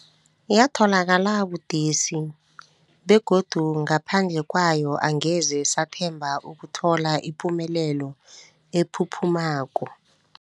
Yatholakala budisi, begodu ngaphandle kwayo angeze sathemba ukuthola ipumelelo ephuphumako.